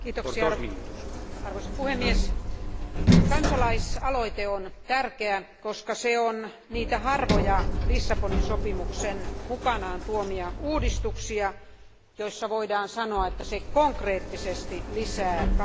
Kansalaisaloite on tärkeä, koska se on niitä harvoja Lissabonin sopimuksen mukanaan tuomia uudistuksia, joista voidaan sanoa, että se konkreettisesti lisää kansalaisten suoria vaikutusmahdollisuuksia.